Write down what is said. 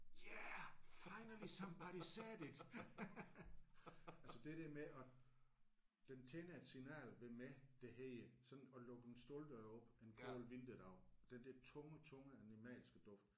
Yeah finally somebody said it altså det der med at den tænder et signal ved mig der hedder sådan at lukke en stalddør op en kold vinterdag den der tunge tunge animalske duft